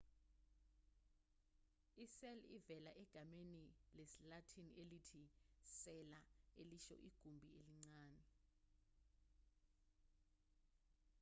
i-cell ivela egameni lesilatin elithi cella elisho igumbi elincane